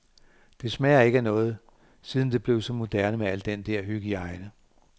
Det smager ikke af noget, siden det blev så moderne med al den dér hygiejne.